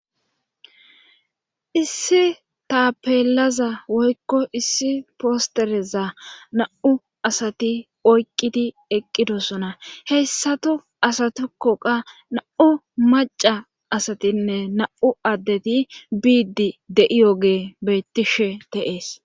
issi tapeelaza woykko issi postereza na7u asati oyqqidi eqqidosona hessatu asatikkoqa na7u maca asatinne na7u addeti biiddi de7iyoge bettishe de7ees